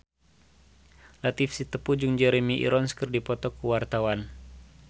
Latief Sitepu jeung Jeremy Irons keur dipoto ku wartawan